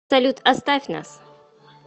салют оставь нас